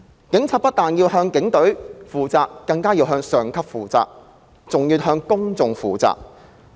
警察不但要向警隊負責、向上級負責，還要向公眾負責。